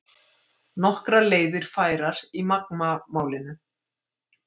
Nokkrar leiðir færar í Magma málinu